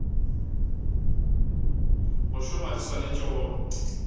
go šoma di swanetše go